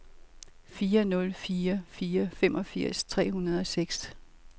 fire nul fire fire femogfirs tre hundrede og seks